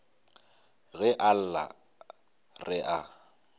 ge a lla re a